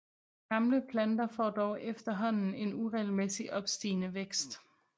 Gamle planter får dog efterhånden en uregelmæssigt opstigende vækst